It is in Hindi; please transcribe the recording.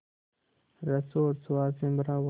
रस और स्वाद से भरा हुआ